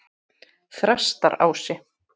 Þrastarási